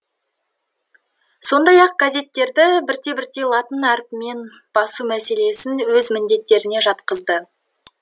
сондай ақ газеттерді бірте бірте латын әрпімен басу мәселесін өз міндеттеріне жатқызды